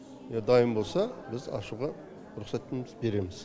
дайын болса біз ашуға рұқсатымызды береміз